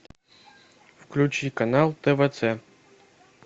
включи канал тв ц